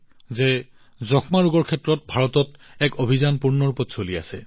তেওঁলোকে ৰোগীক গ্ৰহণ কৰি আছে ৰোগীক পুষ্টিকৰ আহাৰ প্ৰদানত অগ্ৰণী ভূমিকা পালন কৰিছে